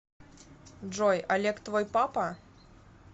джой олег твой папа